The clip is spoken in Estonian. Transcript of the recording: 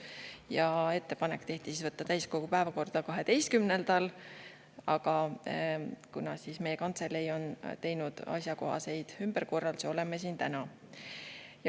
Tehti ettepanek võtta täiskogu päevakorda 12. detsembril, aga kuna meie kantselei on teinud asjakohaseid ümberkorraldusi, oleme siin täna.